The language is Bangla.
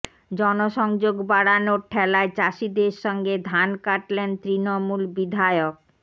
জনসংযোগ বাড়ানোর ঠ্যালায় চাষীদের সঙ্গে ধান কাটলেন তৃণমূল বিধায়ক